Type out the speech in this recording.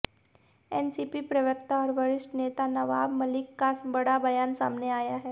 NCP प्रवक्ता और वरिष्ठ नेता नवाब मलिक का बड़ा बयान सामने आया है